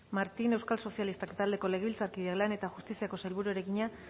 martín euskal sozialistak taldeko legebiltzarkideak lan eta justiziako sailburuari egina